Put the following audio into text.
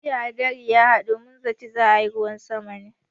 Jiya hadari ya haɗu, mun zaci za a yi ruwan sama ne.